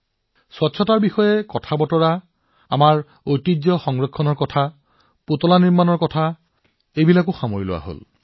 এতিয়া আপুনি দেখিছে পৰিচ্ছন্নতাৰ কথায়েই হওক অথবা আমাৰ ঐতিহ্য পৰিচালনাৰ আলোচনাই হওক আৰু কেৱল এয়াই নহয় পুতলা নিৰ্মাণৰ কথায়েই হওক এনেকুৱা কি বিষয় নাছিল